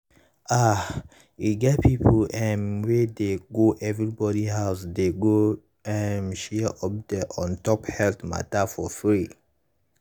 ah e get people um wey dey go everybody house dey go um share update on top health matter for free.